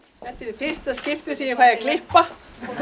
fyrsta skipti sem ég fæ að klippa